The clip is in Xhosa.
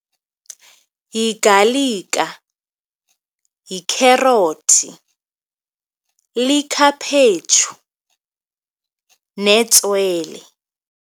Yigalika, yikherothi, likhaphetshu netswele.